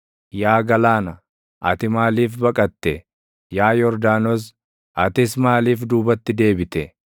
Yaa galaana, ati maaliif baqatte? Yaa Yordaanos, atis maaliif duubatti deebite?